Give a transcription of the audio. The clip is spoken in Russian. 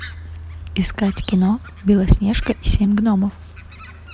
искать кино белоснежка и семь гномов